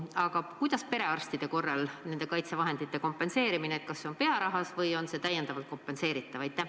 Aga kuidas perearstide korral nende kaitsevahendite kompenseerimine käib – kas see on pearahas või on see täiendavalt kompenseeritav?